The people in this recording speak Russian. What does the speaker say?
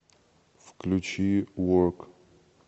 включи ворк